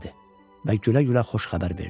Və gülə-gülə xoş xəbər verdi.